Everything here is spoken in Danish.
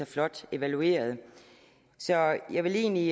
flot evalueret jeg vil egentlig